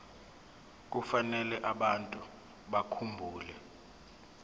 kufanele abantu bakhumbule